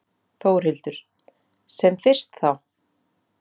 Þórhildur: Sem fyrst þá?